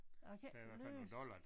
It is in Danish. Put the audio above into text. Jeg kan ikke læse